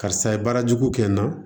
Karisa ye baara jugu kɛ n na